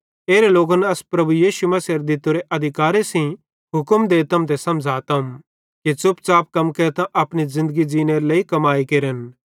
एरे लोकन अस प्रभु यीशु मसीहेरे दित्तोरे अधिकारे सेइं हुक्म देतम ते समझ़ातम कि च़ुपच़ाप कम केरतां अपनी ज़िन्दगी ज़ींनेरे लेइ कमाई केरन